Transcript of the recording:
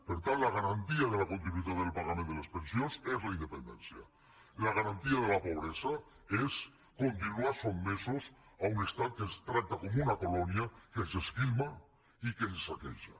per tant la garantia de la continuïtat en el pagament de les pensions és la independència la garantia de la pobresa és continuar sotmesos a un estat que ens tracta com una colònia que ens esquilma i que ens saqueja